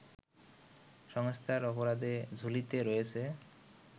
সংস্থার অপরাধের ঝুলিতে রয়েছে